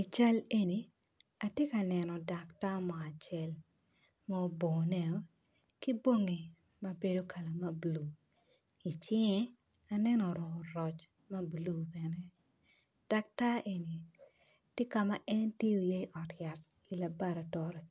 I cal eni atye ka neno daktar mo acel, ma obone-o ki bongi ma bedo kala mabulu, i cinge aneno oruku roc mabulu bene, daktar eni, ti ka ma en tiyo iye i ot yat i labaratori